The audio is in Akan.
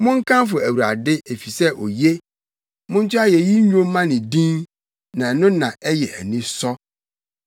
Monkamfo Awurade efisɛ oye; monto ayeyi nnwom mma ne din, na ɛno na ɛyɛ anisɔ.